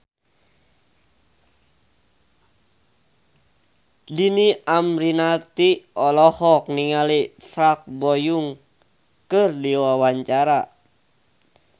Dhini Aminarti olohok ningali Park Bo Yung keur diwawancara